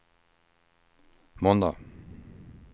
måndag